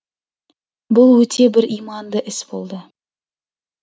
бұл өте бір иманды іс болды